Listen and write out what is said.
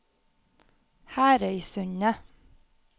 Herøysundet